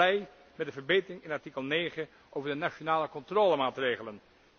Ik ben blij met de verbetering in artikel 9 over de nationale controlemaatregelen.